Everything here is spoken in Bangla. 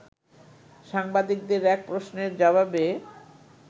সাংবাদিকদের এক প্রশ্নের জবাবে